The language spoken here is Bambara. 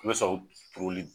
Ka na son poroli.